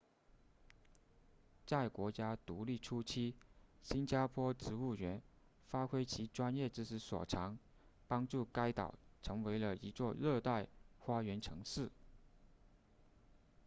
在国家独立初期新加坡植物园发挥其专业知识所长帮助该岛成为了一座热带花园城市